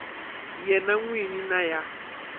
yena n wini na ya